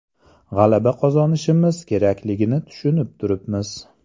G‘alaba qozonishimiz kerakligini tushunib turibmiz.